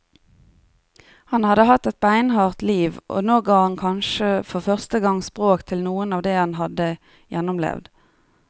Han hadde hatt et beinhardt liv, og nå ga han kanskje for første gang språk til noe av det han hadde gjennomlevd.